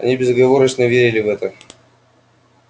они безоговорочно верили в это